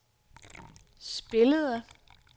spillede